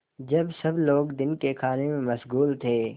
जब सब लोग दिन के खाने में मशगूल थे